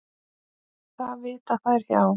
Það vita þær hjá